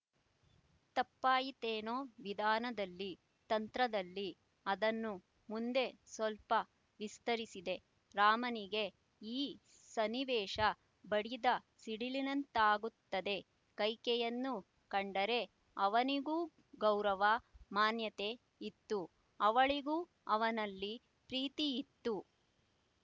ತಪ್ಪಾಯಿತೇನೊ ವಿಧಾನದಲ್ಲಿ ತಂತ್ರದಲ್ಲಿ ಅದನ್ನು ಮುಂದೆ ಸ್ವಲ್ಪ ವಿಸ್ತರಿಸಿದೆ ರಾಮನಿಗೇ ಈ ಸನ್ನಿವೇಶ ಬಡಿದ ಸಿಡಿಲಿನಂತಾಗುತ್ತದೆ ಕೈಕೆಯನ್ನು ಕಂಡರೆ ಅವನಿಗೂ ಗೌರವ ಮಾನ್ಯತೆ ಇತ್ತು ಅವಳಿಗೂ ಅವನಲ್ಲಿ ಪ್ರೀತಿಯಿತ್ತು